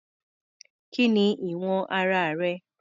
Kí ni ìwọ̀n ara rẹ̀?